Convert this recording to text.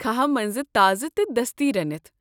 كھاہ منٛزٕ تازٕ تہٕ دستی رنِتھ ۔